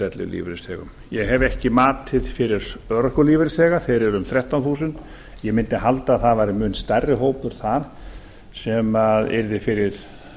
ellilífeyrisþegum ég hef ekki matið fyrir örorkulífeyrisþega þeir eru um þrettán þúsund ég mundi halda að það væri mun stærri hópur þar sem yrði fyrir